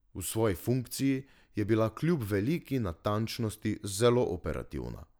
V svoji funkciji je bila kljub veliki natančnosti zelo operativna.